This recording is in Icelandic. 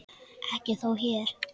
Ekki þó hér.